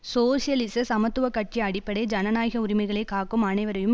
சோசியலிச சமத்துவ கட்சி அடிப்படை ஜனநாயக உரிமைகளை காக்கும் அனைவரையும்